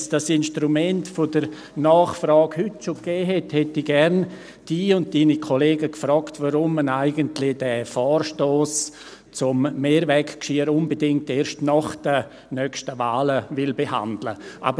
Hätte es das Instrument der Nachfrage bereits heute gegeben, hätte ich Sie und Ihre Kollegen gerne gefragt, weshalb man eigentlich den Vorstoss zum Mehrweggeschirr unbedingt erst nach den nächsten Wahlen behandeln will.